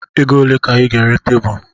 Ego ole ka ị ga-ere tebụl?